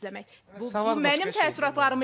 Bu mənim təəssüratlarım idi.